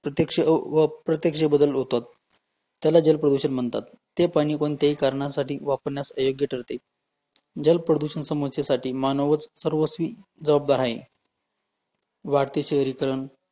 प्रत्यक्ष व अं अप्रत्यक्ष बदल होतात, त्याला जल प्रदूषण म्हणतात, ते पाणी कोणत्याही कारणासाठी वापरण्यास अयोग्य ठरते, जल प्रदूषण समस्येसाठी मानवच सर्वस्वी जबाबदार आहे वाढते शहरीकरण